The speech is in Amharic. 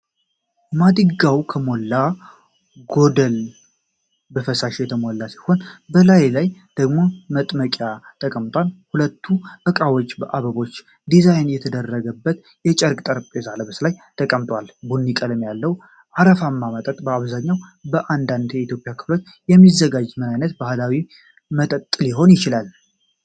ማድጋው ከሞላ ጎደል በፈሳሽ የተሞላ ሲሆን፣ በላዩ ላይ ደግሞ መጥመቂያ ተቀምጧል፤ ሁለቱም እቃዎች በአበቦች ዲዛይን በተደረገበት የጨርቅ/ጠረጴዛ ልብስ ላይ ተቀምጠዋል። ቡኒ ቀለም ያለው፣ አረፋማ መጠጥ፣ በአብዛኛው በአንዳንድ የኢትዮጵያ ክልሎች የሚዘጋጀው ምን አይነት ባህላዊ መጠጥ ሊሆን ይችላል?